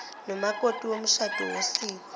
nomakoti womshado wosiko